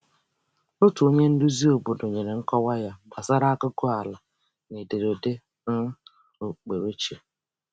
Otu onye nduzi obodo nyere nkọwa ya gbasara aguguala na ederede um okpukperechi.